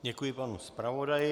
Děkuji panu zpravodaji.